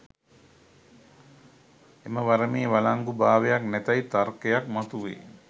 එම වරමේ වලංගු භාවයක් නැතැයි තර්කයක් මතුවේ